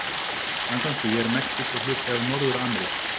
Samkvæmt því er Mexíkó hluti af Norður-Ameríku.